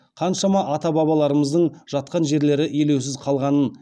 қаншама ата бабаларымыздың жатқан жерлері елеусіз қалғанын